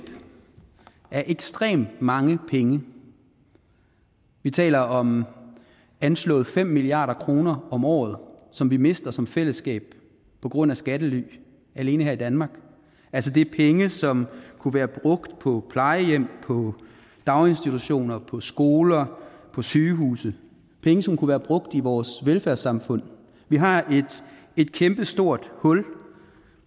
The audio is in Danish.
af ekstremt mange penge vi taler om anslået fem milliard kroner om året som vi mister som fællesskab på grund af skattely alene her i danmark altså det er penge som kunne være brugt på plejehjem på daginstitutioner på skoler og på sygehuse penge som kunne være brugt i vores velfærdssamfund vi har et kæmpestort hul